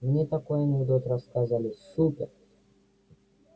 мне такой анекдот рассказали супер